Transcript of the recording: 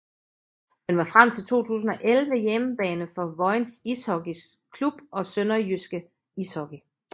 Den var frem til 2011 hjemmebane for Vojens Ishockey Klub og SønderjyskE Ishockey